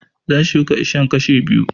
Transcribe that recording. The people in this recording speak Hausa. Zan shuka iccen kashu biyu